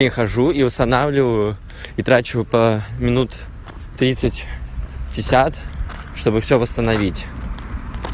и хожу и устанавливаю и трачу по минут тридцать-пятьдесят чтобы всё восстановить